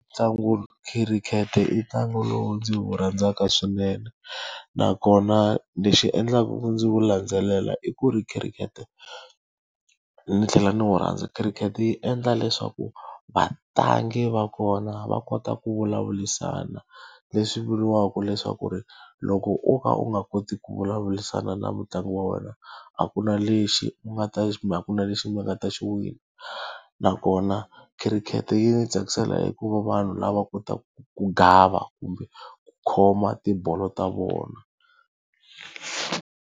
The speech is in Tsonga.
Ntlangu khirikhete i ntlangu lowu ndzi wu rhandzaka swinene. Nakona lexi endlaku ku ndzi wu landzelela i ku ri khirikhete, ndzi tlhela ndzi wu rhandza khirikhete yi endla leswaku vatlangi va kona va kota ku vulavurisana. Leswi vuriwaka leswaku ri, loko wo ka u nga koti ku vulavurisana na mutlangi wa wena, a ku na lexi u nga ta kumbe a ku na lexi mi nga ta xi wina. Nakona khirikhete yi ndzi tsakisela hikuva vanhu lava va kotaku ku gava kumbe ku khoma tibolo ta vona.